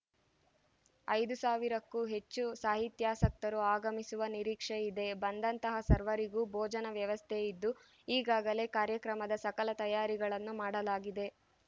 ಐದು ಸಾವಿರಕ್ಕೂ ಹೆಚ್ಚು ಸಾಹಿತ್ಯಾಸಕ್ತರು ಆಗಮಿಸುವ ನಿರೀಕ್ಷೆ ಇದೆ ಬಂದಂತಹ ಸರ್ವರಿಗೂ ಬೋಜನ ವ್ಯವಸ್ಥೆ ಇದ್ದು ಈಗಾಗಲೇ ಕಾರ್ಯಕ್ರಮದ ಸಕಲ ತಯಾರಿಗಳನ್ನು ಮಾಡಲಾಗಿದೆ